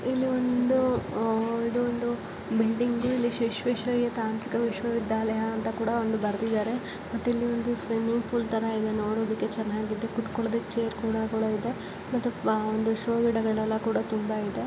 ಇಲ್ಲಿ ಒಂದು ಯಾವದೋ ಬಿಲ್ಡಿಂಗು ಇಲ್ಲಿ ವಿಶ್ವೇಶ್ವರಯ್ಯ ತಾಂತ್ರಿಕ ವಿಶ್ವವಿದ್ಯಾಲಯ ಎಂದುಬರ್ದಿದ್ದರೇ ಇಲ್ಲಿ ಒಂದು ಸ್ವಿಮ್ಮಿಂಗ್ ಪೂಲ್ ನೋಡಕ್ಕು ಚೆನ್ನಾಗಿದೆ ಕುತ್ಕೋಳ್ಳೋದಕ್ಕೆ ಚೇರ್ ಕೂಡ ಇದೇ ಮತ್ತು ಒಂದು ಶೋ ಗಿಡಗಳೆಲ್ಲಕೂಡ ತುಂಬಾ ಇದೆ___